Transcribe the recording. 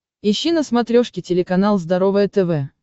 ищи на смотрешке телеканал здоровое тв